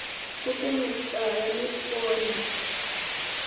pfuke mutala nikone u ya